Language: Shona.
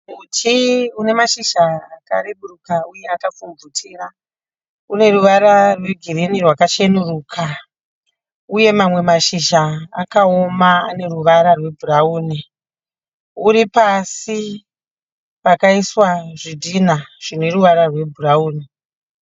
Muti une mashizha akareburuka uye akapfumvutira. Une ruvara rwegirinhi rwakachenuruka uye mamwe mashizha akaoma ane ruvara rwebhurauni. Uri pasi pakaiswa zvidhinha zvine ruvara rwebhurauni.